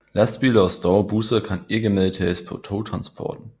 Lastbiler og store busser kan ikke medtages på togtransporten